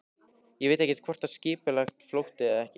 Ég veit ekkert hvort það var skipulagður flótti eða ekki.